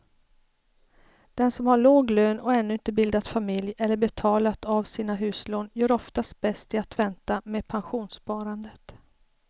Den som har låg lön och ännu inte bildat familj eller betalat av sina huslån gör oftast bäst i att vänta med pensionssparandet.